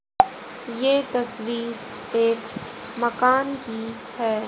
ये तस्वीर एक मकान की है।